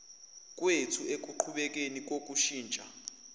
kwethu ekuqhubekeni kokushintsha